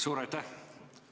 Suur aitäh!